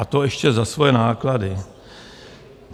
A to ještě za svoje náklady.